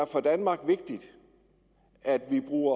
for danmark at vi bruger